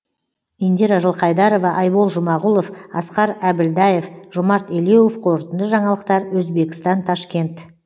индира жылқайдарова айбол жұмағұлов асқар әбілдаев жомарт елеуов қорытынды жаңалықтар өзбекістан ташкент